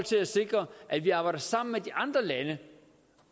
sikre at vi arbejder sammen med de andre lande